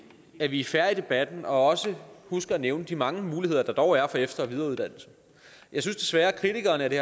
at vi er fair i debatten og også husker at nævne de mange muligheder der dog er for efter og videreuddannelse jeg synes desværre at kritikerne af det